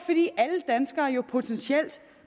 potentielt